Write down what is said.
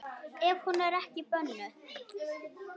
Ef hún er ekki bönnuð.